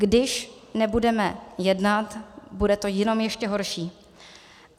Když nebudeme jednat, bude to jenom ještě horší.